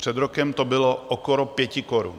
Před rokem to bylo okolo 5 korun.